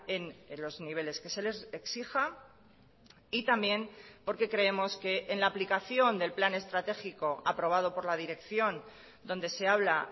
en los niveles que se les exija y también porque creemos que en la aplicación del plan estratégico aprobado por la dirección donde se habla